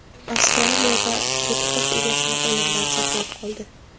Avstraliyada to‘tiqush egasini o‘limdan saqlab qoldi.